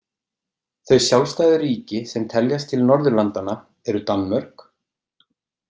Þau sjálfstæðu ríki sem teljast til Norðurlandanna eru Danmörk.